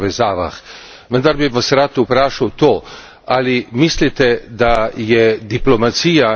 Vendar bi vas rad vprašal to ali mislite, da je diplomacija in edina...